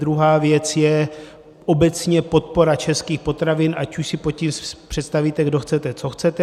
Druhá věc je obecně podpora českých potravin, ať už si pod tím představíte, kdo chcete, co chcete.